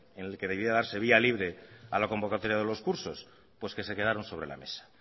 en el que debía darse vía libre a la convocatoria de los cursos pues que se quedaron sobre la mesa